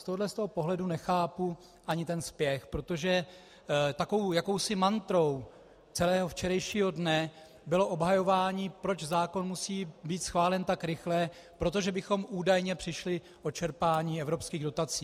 Z tohoto pohledu nechápu ani ten spěch, protože takovou jakousi mantrou celého včerejšího dne bylo obhajování, proč zákon musí být schválen tak rychle, protože bychom údajně přišli o čerpání evropských dotací.